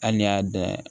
Hali n'i y'a dan